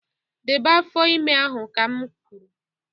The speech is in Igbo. Debe afọ ime ahụ ka m kwuru